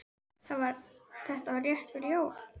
Þetta var rétt fyrir jól.